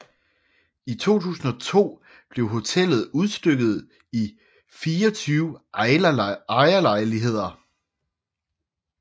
I 2002 blev hotellet udstykket i 24 ejerlejligheder